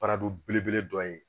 belebele dɔ ye